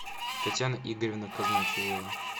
татьяна игоревна казначеева